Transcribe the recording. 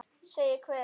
Segir hver?